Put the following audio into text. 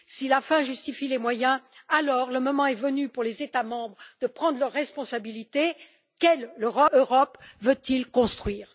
Si la fin justifie les moyens, alors le moment est venu pour les États membres de prendre leurs responsabilités quelle Europe veulent ils construire?